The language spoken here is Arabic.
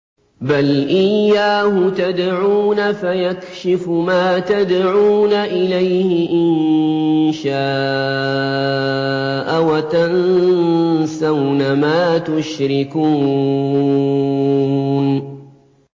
بَلْ إِيَّاهُ تَدْعُونَ فَيَكْشِفُ مَا تَدْعُونَ إِلَيْهِ إِن شَاءَ وَتَنسَوْنَ مَا تُشْرِكُونَ